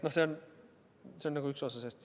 See on üks osa sellest.